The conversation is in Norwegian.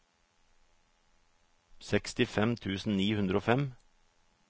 sekstifem tusen ni hundre og fem